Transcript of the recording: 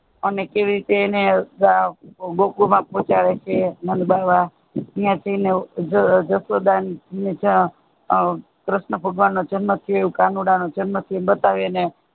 અને કેવી રીતે ગોકુલ માં પોહચાડે છે નંદબાવા ન્યા જાયને જશોદા ને કર્ષ્ણ ભગવાન જન્મ સે કાનુડા જન્મ સે બતાવે એને